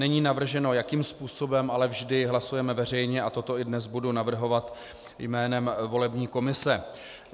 Není navrženo, jakým způsobem, ale vždy hlasujeme veřejně a toto i dnes budu navrhovat jménem volební komise.